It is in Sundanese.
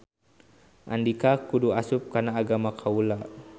Andika kudu asup kana agama kaula.